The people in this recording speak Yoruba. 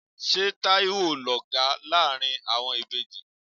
Ṣé Taiwo ló ga láàárín àwọn ìbejì?